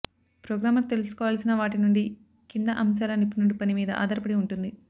programmer తెలుసుకోవాల్సిన వాటి నుండి కింది అంశాలను నిపుణుడి పని మీద ఆధారపడి ఉంటుంది